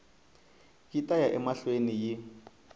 yi ta ya emahlweni yi